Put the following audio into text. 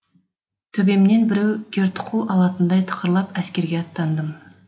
төбемнен біреу кертұқыл алатындай тықырлап әскерге аттандым